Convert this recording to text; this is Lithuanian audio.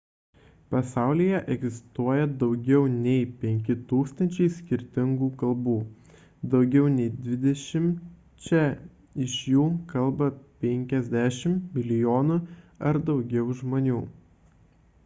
pasaulyje egzistuoja daugiau nei 5 000 skirtingų kalbų daugiau nei dvidešimčia iš jų kalba 50 milijonų ar daugiau žmonių